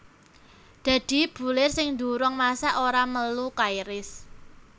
Dadi bulir sing durung masak ora melu kairis